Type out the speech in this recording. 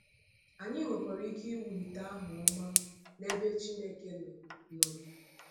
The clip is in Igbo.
Anyị nwekwara ike iwulite aha ọma n’ebe Chineke nọ. nọ.